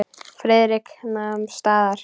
Friðrik nam staðar.